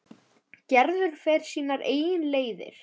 Gerður fer sínar eigin leiðir.